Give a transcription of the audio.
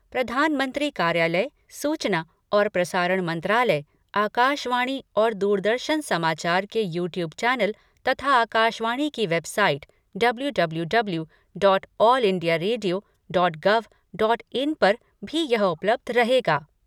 प्रधानमंत्री कार्यालय, सूचना और प्रसारण मंत्रालय, आकाशवाणी और दूरदर्शन समाचार के यूट्यूब चैनल तथा आकाशवाणी की website W W W dot all India radio dot gov dot in पर भी यह उपलब्ध रहेगा।